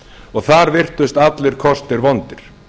og þar virtust allir kostir vondir